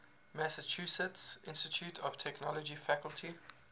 massachusetts institute of technology faculty